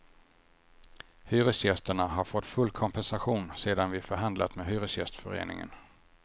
Hyresgästerna har fått full kompensation sedan vi förhandlat med hyresgästföreningen.